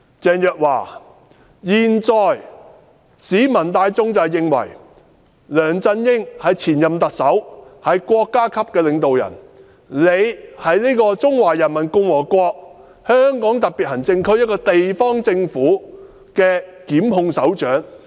鄭若驊，現在市民大眾認為，梁振英是前任特首，是國家領導人，而司長是中華人民共和國香港特別行政區這個地方政府負責檢控的首長。